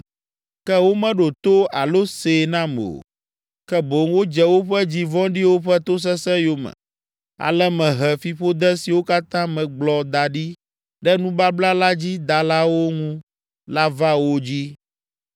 Ke womeɖo to alo see nam o, ke boŋ wodze woƒe dzi vɔ̃ɖiwo ƒe tosesẽ yome. Ale mehe fiƒode siwo katã megblɔ da ɖi ɖe nubabla la dzi dalawo ŋu la va wo dzi.’ ”